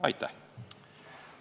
Aitäh!